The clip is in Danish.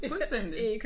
Fuldstændig